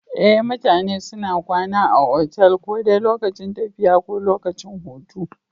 Ee mutane suna kwana a otal ko dai lokacin tafiya ko lokacin hutu